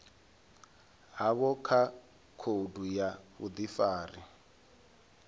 havho kha khoudu ya vhudifari